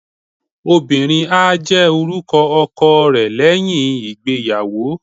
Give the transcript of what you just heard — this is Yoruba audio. obìnrín a jè orúkọ ọkọ re leyín ìgbéyàwó